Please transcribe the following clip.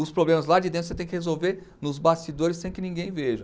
Os problemas lá de dentro você tem que resolver nos bastidores sem que ninguém veja.